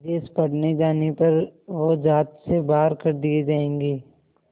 विदेश पढ़ने जाने पर वो ज़ात से बाहर कर दिए जाएंगे